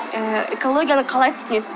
ыыы экологияны қалай түсінесіз